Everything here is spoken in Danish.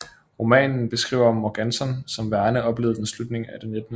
Romanen beskriver Morganton som Verne oplevede den slutningen af det 19